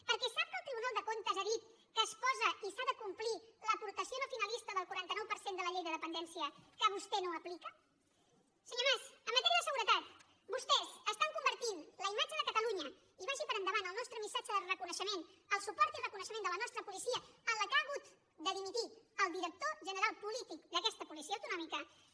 perquè sap que el tribunal de comptes ha dit que es posa i s’ha de complir l’aportació no finalista del quaranta nou per cent de la llei de dependència que vostè no aplica senyor mas en matèria de seguretat vostès estan convertint la imatge de catalunya i vagi per davant el nostre missatge de reconeixement el suport i reconeixement a la nostra policia en la qual ha hagut de dimitir el director general polític d’aquesta policia autonòmica